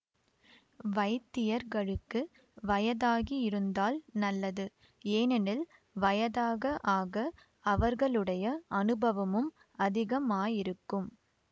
வைத்தியர்களுக்கு வயதாகியிருந்தால் நல்லது ஏனெனில் வயதாக ஆக அவர்களுடைய அநுபவமும் அதிகமாயிருக்கும்